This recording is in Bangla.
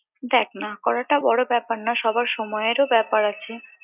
দেখ না করাটা বড় ব্যাপার না সবার সময়েরও ব্যাপার আছে